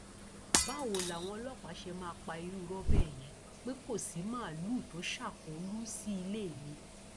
báwo làwọn ọlọpàá ṣe máa pa irú irọ bẹẹ yẹn pé kò sí màálùú tó ṣàkólú sí ilé mi